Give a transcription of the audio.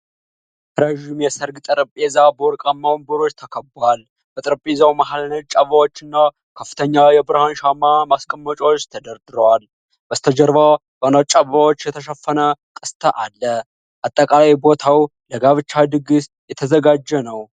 ረዥም የሠርግ ጠረጴዛ በወርቃማ ወንበሮች ተከቧል። በጠረጴዛው መሃል ነጭ አበባዎችና ከፍተኛ የብርሃን ሻማ ማስቀመጫዎች ተደርድረዋል። በስተጀርባ በነጭ አበባዎች የተሸፈነ ቅስት አለ። አጠቃላይ ቦታው ለጋብቻ ድግስ የተዘጋጀ ነው።